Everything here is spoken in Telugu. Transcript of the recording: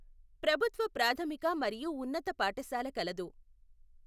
ప్రభుత్వ ప్రాధమిక మరియు ఉన్నత పాఠశాల కలదు.